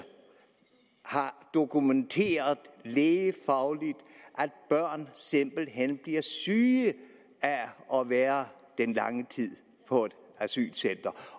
har dokumenteret lægefagligt at børn simpelt hen bliver syge af at være den lange tid på et asylcenter